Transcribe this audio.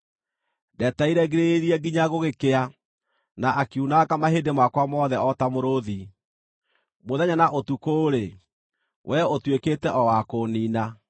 Ndetereire ngirĩrĩirie nginya gũgĩkĩa, na akiunanga mahĩndĩ makwa mothe o ta mũrũũthi. Mũthenya na ũtukũ-rĩ, wee ũtuĩkĩte o wa kũũniina.